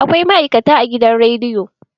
Akwai ma'aikata a gidan rediyo.